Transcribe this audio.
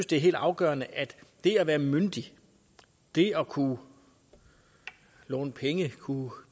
det er helt afgørende at det at være myndig det at kunne låne penge kunne